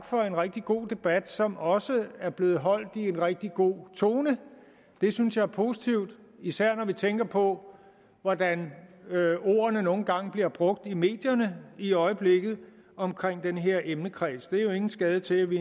for en rigtig god debat som også er blevet holdt i en rigtig god tone det synes jeg er positivt især når vi tænker på hvordan ordene nogle gange bliver brugt i medierne i øjeblikket omkring den her emnekreds det er jo ingen skade til at vi